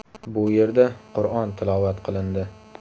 Bu yerda Qur’on tilovat qilindi.